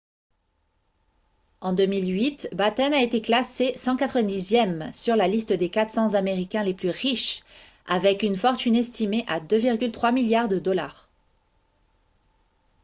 en 2008 batten a été classé 190e sur la liste des 400 américains les plus riches avec une fortune estimée à 2,3 milliards de dollars